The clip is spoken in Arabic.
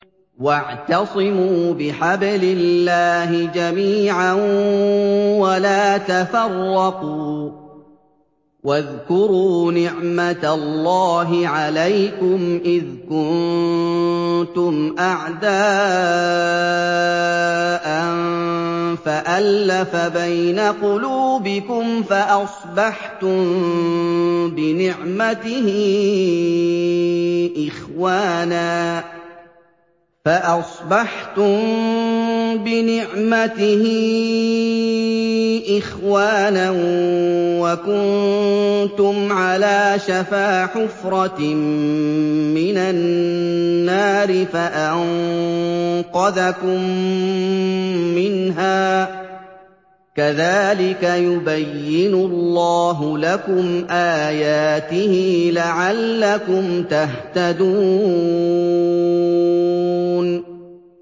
وَاعْتَصِمُوا بِحَبْلِ اللَّهِ جَمِيعًا وَلَا تَفَرَّقُوا ۚ وَاذْكُرُوا نِعْمَتَ اللَّهِ عَلَيْكُمْ إِذْ كُنتُمْ أَعْدَاءً فَأَلَّفَ بَيْنَ قُلُوبِكُمْ فَأَصْبَحْتُم بِنِعْمَتِهِ إِخْوَانًا وَكُنتُمْ عَلَىٰ شَفَا حُفْرَةٍ مِّنَ النَّارِ فَأَنقَذَكُم مِّنْهَا ۗ كَذَٰلِكَ يُبَيِّنُ اللَّهُ لَكُمْ آيَاتِهِ لَعَلَّكُمْ تَهْتَدُونَ